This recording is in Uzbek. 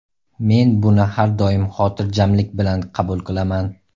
Men buni har doim xotirjamlik bilan qabul qilaman.